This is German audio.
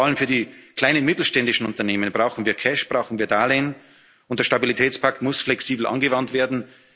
unterstützen vor allem für die kleinen mittelständischen Unternehmen brauchen wir Cash, brauchen wir Darlehen, und der Stabilitätspakt muss flexibel angewandt